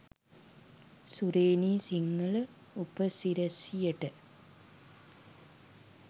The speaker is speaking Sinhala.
සුරේනි සිංහල උපසිරැසියට.